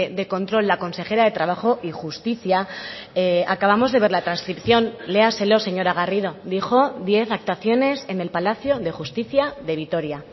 de control la consejera de trabajo y justicia acabamos de ver la transcripción léaselo señora garrido dijo diez actuaciones en el palacio de justicia de vitoria